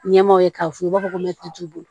Ɲɛmaaw ye k'a f'u ye u b'a fɔ ko t'u bolo